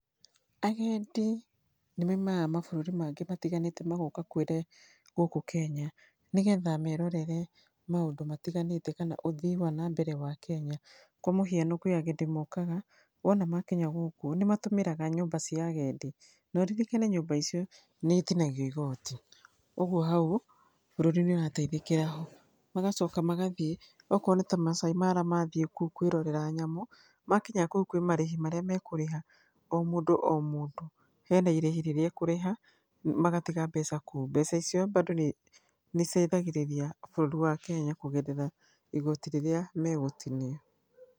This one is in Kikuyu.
Agendi nĩmaimaga mabũrũri mangĩ matiganĩte magoka kwĩre, gũkũ Kenya nĩgetha merorere maũndũ matiganĩte kana ũthii wanambere wa Kenya. Kwa mũhiano kwĩ agendi mokaga, wona makinya gũkũ nĩmatũmĩraga nyũmba cia agendi noririkane nyũmba icio nĩ itinagio igoti, ũgwo hau bũrũri nĩ ũrateithĩkĩra ho. Magacoka magathiĩ okorwo nĩta Masai Mara mathiĩ kũu kwĩrorera nyamũ, makinya kũu kwĩ marĩhi marĩa mekũrĩha omũndũ omũndũ hena irĩhi rĩrĩa ekũrĩha magatiga mbeca kũu. Mbeca icio bado nĩ, nĩciteithagĩrĩria bũrũri wa Kenya kũgerera igoti rĩrĩa megũtinia.